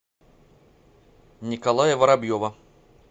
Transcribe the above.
николая воробьева